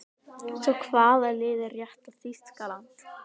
Svo hvaða lið er rétta Þýskaland?